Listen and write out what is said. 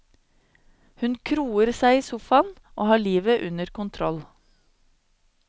Hun kroer seg i sofaen og har livet under kontroll.